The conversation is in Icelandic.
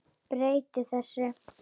Breyti þessu.